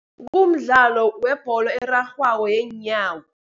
Umdlalo webholo erarhwako yeenyawo.